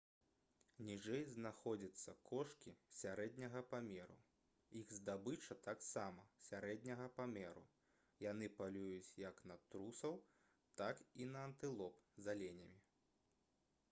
ніжэй знаходзяцца кошкі сярэдняга памеру іх здабыча таксама сярэдняга памеру яны палююць як на трусоў так і на антылоп з аленямі